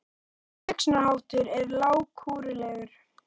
Þessi hugsunarháttur er lágkúrulegur!